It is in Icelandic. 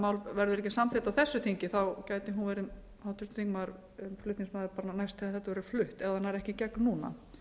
mál verður ekki samþykkt á þessu þingi þá gæti háttvirtur þingmaður verið flutningsmaður næst þegar þetta verður flutt ef það nær ekki í gegn núna